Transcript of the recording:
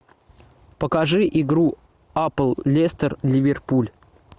покажи игру апл лестер ливерпуль